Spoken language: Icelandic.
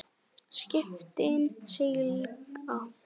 Skipin sigla.